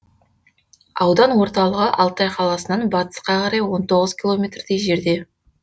аудан орталығы алтай қаласынан батысқа қарай он тоғыз километрдей жерде